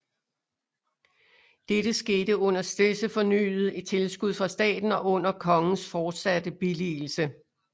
Dette skete under stedse fornyede tilskud fra staten og under kongens fortsatte billigelse